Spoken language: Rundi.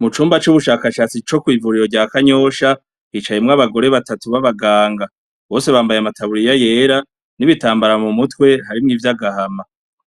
Mu cumba c'ubushakashatsi co kw'ivuriro rya kanyosha hicayemwo abagore batatu b'abaganga bose bambaye amataburiya yera n'ibitambara mu mutwe harimwo ivyo agahama